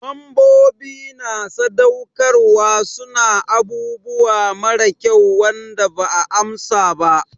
Membobi na sadaukarwa su na abubuwa mara kyau Wanda ba 'a amsa ba.